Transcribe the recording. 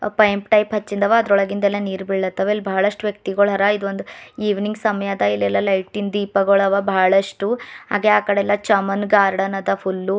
ಪೈಂಪ್ type ಅಚ್ಚಿಂದವ ಅದರೊಳಗಿಂದಲೆ ನೀರ್ ಬೀಳತ್ತವ ಇಲ್ಲಿ ಬಹಳಷ್ಟು ವ್ಯಕ್ತಿಗಳರ ಇದು ಒಂದು ಇವಿನಿಂಗ್ ಸಮಯ ಅದ ಇಲ್ಲೆಲ್ಲ ಲೈಟ್ ಇನ್ ದೀಪ ಗೋಳ್ ಅವ ಬಹಳಷ್ಟು ಹಾಗೆ ಆ ಕಡೆ ಎಲ್ಲ ಚಮನ್ ಗಾರ್ಡನ್ ಅದ ಫುಲ್ಲು .